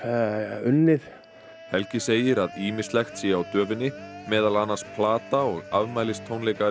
unnið helgi segir að ýmislegt sé á döfinni meðal annars plata og afmælistónleikar í